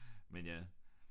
Men ja